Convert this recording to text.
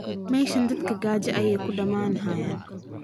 meshan dadka gaja ayay uu damanhayan